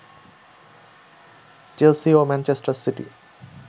Chelsea ও Manchester city